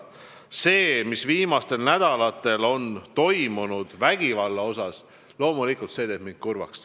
See vägivald, mis on viimastel nädalatel toimunud, teeb mind loomulikult kurvaks.